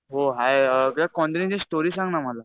हो हाय यार कोंजेरिन्ग ची स्टोरी सांग ना मला.